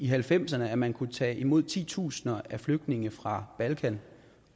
halvfemserne at man kunne tage imod titusind flygtninge fra balkan